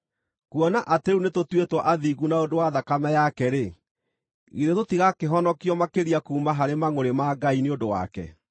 Kuona atĩ rĩu nĩtũtuĩtwo athingu na ũndũ wa thakame yake-rĩ, githĩ tũtigakĩhonokio makĩria kuuma harĩ mangʼũrĩ ma Ngai nĩ ũndũ wake!